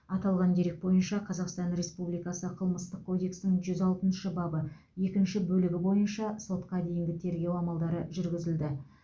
аталған дерек бойынша қазақстан республикасы қылмыстық кодексінің жүз алтыншы бабы екінші бөлігі бойынша сотқа дейінгі тергеу амалдары жүргізілді